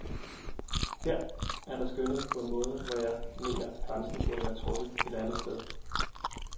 Her er der skønnet på en måde, hvor jeg mener, grænsen burde være trukket et andet sted.